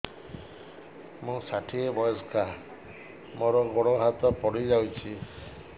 ମୁଁ ଷାଠିଏ ବୟସ୍କା ମୋର ଗୋଡ ହାତ ପଡିଯାଇଛି